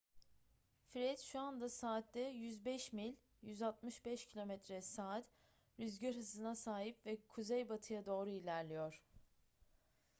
fred şu anda saatte 105 mil 165 km/s rüzgar hızına sahip ve kuzeybatıya doğru ilerliyor